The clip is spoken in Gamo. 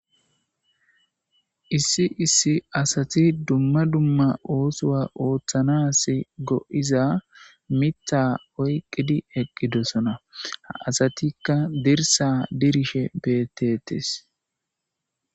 Issi issi asati dumma dumma oosowa ooththanas go7iza mitha oyqqidi eqqidosona ha asatikka dirsa dirishe beetetes